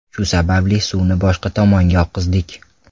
Shu sababli suvni boshqa tomonga oqizdik.